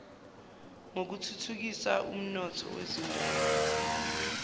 yokuthuthukisa umnotho wezindawo